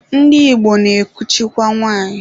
Ndị Igbo na-ekuchikwa nwanyị.